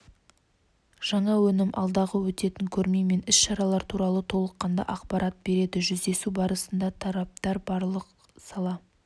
жаңа өнім алдағы өтетін көрме мен іс-шаралар туралы толыққанды ақпарат береді жүздесу барысында тараптар барлық сала